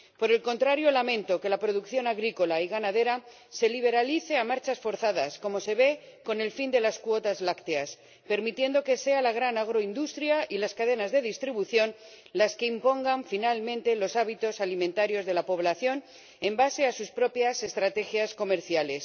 Por el contrario, lamento que la producción agrícola y ganadera se liberalice a marchas forzadas como se ve con el fin de las cuotas lácteas, permitiendo que sean la gran agroindustria y las cadenas de distribución las que impongan finalmente los hábitos alimentarios de la población sobre la base de sus propias estrategias comerciales.